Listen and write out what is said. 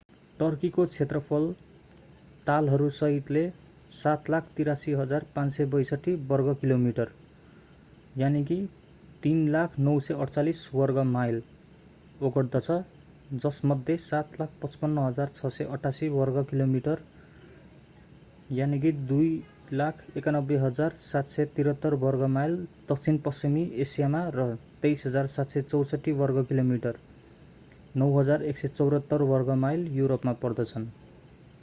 टर्कीको क्षेत्रफल तालहरू सहितले 783,562 वर्गकिलोमिटर 300,948 वर्गमाइल ओगट्दछ जसमध्ये 755,688 वर्गकिलोमिटर 291,773 वर्गमाइल दक्षिणपश्चिमी एसियामा र 23,764 वर्गकिलोमिटर 9,174 वर्गमाइल युरोपमा पर्दछन्।